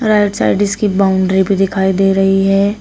Right side इसकी boundary भी दिखाई दे रही है।